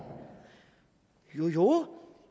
jo jo